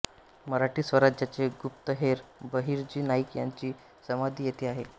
मराठी स्वराज्याचे गुप्तहेर बहिर्जी नाईक यांची समाधी येथे आहे